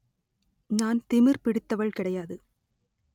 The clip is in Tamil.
நான் திமிர் பிடித்தவள் கிடையாது